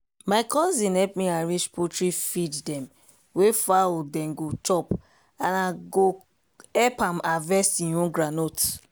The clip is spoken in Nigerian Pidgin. my cousin help me arrange poultry feed dem wey fowl den go chop and i con go help am harvest e own groundnut.